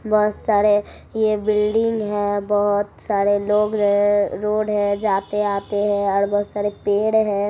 बहुत सारे ये बिल्डिंग है बहुत सारे लोग है रोड है जाते-आते है और बहुत सारे पेड़ है।